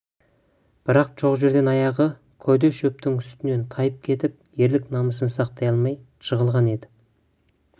бірақ жоқ жерден аяғы көде шөптің үстінен тайып кетіп ерлік намысын сақтай алмай жығылған-ды